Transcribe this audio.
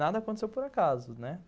Nada aconteceu por acaso, né.